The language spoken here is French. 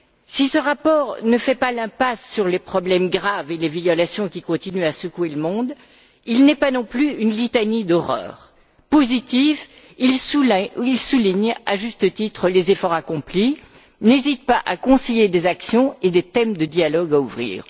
Si ce rapport ne fait pas l'impasse sur les problèmes graves et les violations qui continuent à secouer le monde, il n'est pas non plus une litanie d'horreurs. Positif, il souligne, à juste titre, les efforts accomplis, n'hésite pas à conseiller des actions et des thèmes de dialogues à ouvrir.